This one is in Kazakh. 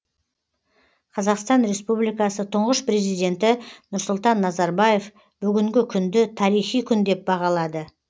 қазақстан республикасы тұңғыш президенті нұрсұлтан назарбаев бүгінгі күнді тарихи күн деп бағалады